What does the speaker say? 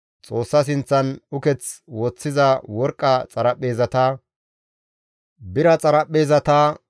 Xoossa sinththan uketh woththiza worqqa xaraphpheezata, bira xaraphpheezata,